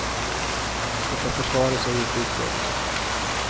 Det är försvaret som gjort utredningen.